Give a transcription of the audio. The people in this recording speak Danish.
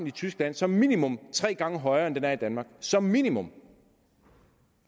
i tyskland som minimum er tre gange højere end den er i danmark som minimum